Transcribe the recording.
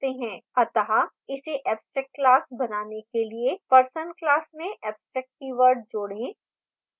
अत: इसे abstract class बनाने के लिए person class में abstract कीवर्ड जोड़ें